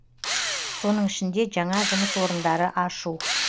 соның ішінде жаңа жұмыс орындары ашу